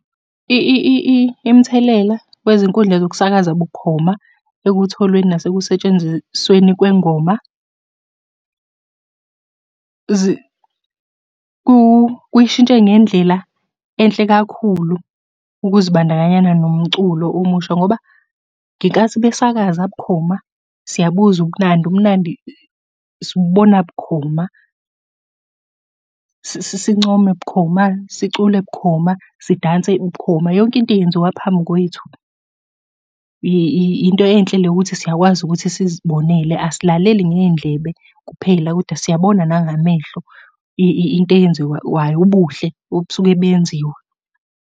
Imithelela kwezinkundla zokusakaza bukhoma, ekutholweni nasekusetshenzisweni kwengoma, kuyishintshe ngendlela enhle kakhulu ukuzibandakanyana nomculo omusha, ngoba ngenkathi besakaza bukhoma, siyabuzwa ubumnandi, ubumnandi sibubona bukhoma. Sincome bukhoma, sicule bukhoma, sidanse bukhoma, yonke into yenziwa phambi kwethu. Yinto enhle leyo ukuthi siyakwazi ukuthi sizibonele, asilaleli ngey'ndlebe kuphela, koda siyabona nangamehlo into eyenziwayo, ubuhle obusuke buyenziwa.